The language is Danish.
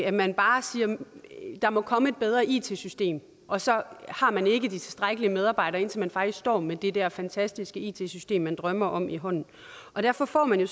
at man bare siger at der må komme et bedre it system og så har man ikke tilstrækkeligt med medarbejdere indtil man faktisk står med det der fantastiske it system som man drømmer om i hånden derfor får man jo